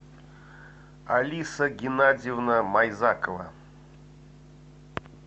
алиса геннадьевна майзакова